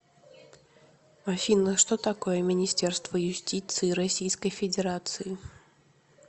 афина что такое министерство юстиции российской федерации